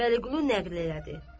Vəliqulu nəql elədi.